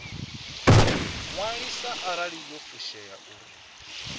ṅwaliswa arali yo fushea uri